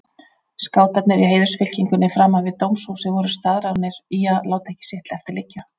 Skátarnir í heiðursfylkingunni framan við dómshúsið voru staðráðnir í að láta ekki sitt eftir liggja.